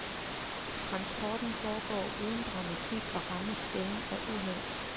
Transporten foregår uden dramatik og rammes sjældent af uheld.